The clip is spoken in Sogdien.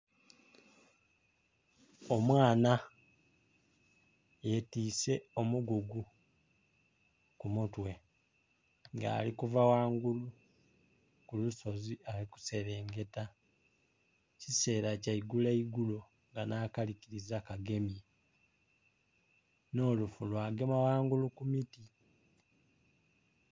Omwaana yetwise omugugu ku mutwe nga alikuva ghangulu ku lusozi ali kuserengeta ekisera kya igulo igulo nga nha kalikiza kagemye nho lufu lwa gema ghangulu ku miti.